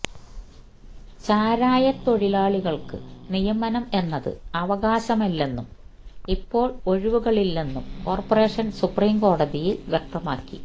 ചാരായത്തൊഴിലാളികൾക്ക് നിയമനം എന്നത് അവകാശമല്ലെന്നും ഇപ്പോൾ ഒഴിവുകളില്ലെന്നും കോർപ്പറേഷൻ സുപ്രീംകോടതിയിൽ വ്യക്തമാക്കി